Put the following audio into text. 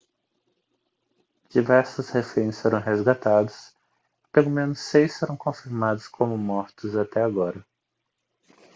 diversos reféns foram resgatados e pelo menos seis foram confirmados como mortos até agora